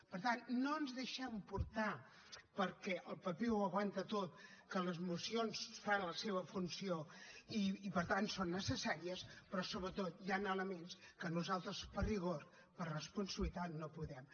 per tant no ens deixem portar perquè el paper ho aguanta tot que les mocions fan la seva funció i per tant són necessàries però sobretot hi han elements que nosaltres per rigor per responsabilitat no podem